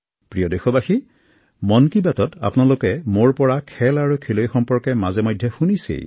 প্ৰিয় দেশবাসী মন কী বাতত আপোনালোকে মোৰ পৰা মাজেসময়ে ক্ৰীড়া আৰু ক্ৰীড়াবিদৰ দুইএটা কথা শুনি আহিছে